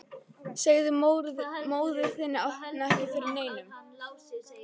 Segðu móður þinni að opna ekki fyrir neinum.